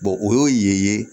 o y'o ye